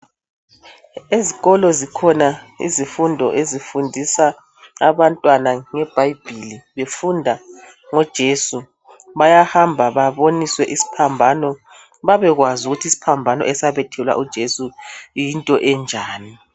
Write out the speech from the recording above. ezikolo zikhona ezifundisa abantwana ngebhayibhilizibafundise ngoJesu bayahamba babone isiphambano bebe kwazi isiphambano esabethelelwa ujesu yinto enjalo.